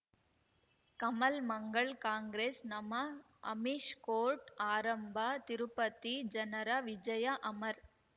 ಕಮಲ್ ಮಂಗಳ್ ಕಾಂಗ್ರೆಸ್ ನಮಃ ಅಮಿಷ್ ಕೋರ್ಟ್ ಆರಂಭ ತಿರುಪತಿ ಜನರ ವಿಜಯ ಅಮರ್